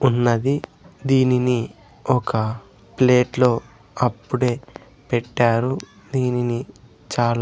ఉన్నది దీనిని ఒక ప్లేట్లో అప్పుడే పెట్టారు దీనిని చాలా--